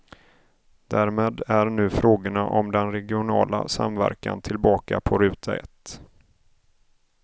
Därmed är nu frågorna om den regionala samverkan tillbaka på ruta ett.